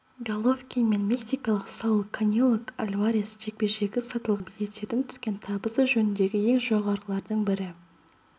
головкин мен мексикалық сауль канело альварес жекпе-жегі сатылған билеттерден түскен табысы жөнінде ең жоғарғылардың бірі